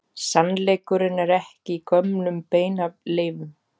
Sannleikurinn er ekki í gömlum beinaleifum.